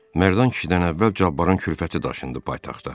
Mərdan kişidən əvvəl Cabbarın kürfəti daşındı paytaxta.